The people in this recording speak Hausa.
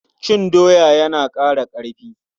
Cin doya yana ƙara ƙarfi.